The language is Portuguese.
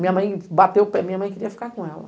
Minha mãe bateu o pé, minha mãe queria ficar com ela.